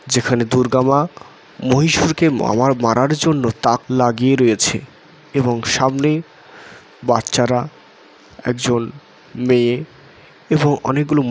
যেখানে দুর্গা মা মহিষাসুরকে মামার মারার জন্য তাক লাগিয়ে রয়েছে এবং সামনে বাচ্চারাএকজন মেয়ে এবং অনেকগুলো--